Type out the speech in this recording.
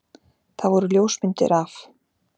Það voru ljósmyndir af